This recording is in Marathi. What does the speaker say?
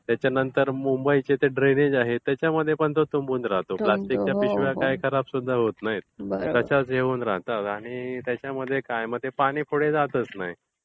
त्याच्यानंतर मुंबईचे जे ड्रेनेज आहेत त्याच्यामध्ये पण तो तुंबून राहतो. प्लॅस्टिकच्या पिशव्या काय खराब सुद्धा होत नाहीत, तशाच हे होऊन राहतात आणि त्याच्यामुळे काय तर पाणी पुढे जातच नाही.